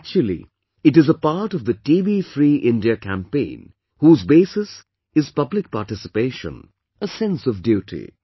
Actually, it is a part of the TB Free India campaign, whose basis is public participation; a sense of duty